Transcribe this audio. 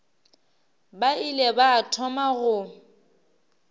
ba ile ba thoma go